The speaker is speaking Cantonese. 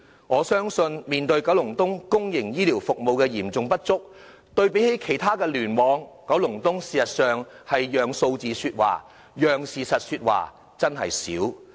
我相信，面對區內公營醫療服務的嚴重不足，與其他聯網對比，九龍東事實上很少讓數字說話、讓事實說話。